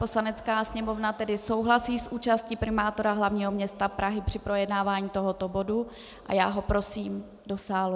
Poslanecká sněmovna tedy souhlasí s účastí primátora hlavního města Prahy při projednávání tohoto bodu a já ho prosím do sálu.